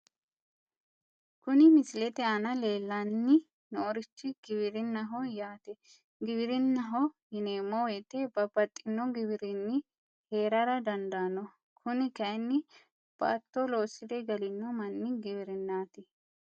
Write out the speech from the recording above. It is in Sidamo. Kuni misilete aana leellanni noorichi giwirinnaho yaate giwirinnaho yineemmo wote , babbaxino giwirinni heerara dandaano kuni kayiinni baatto loosire galino manni giwirinnaati.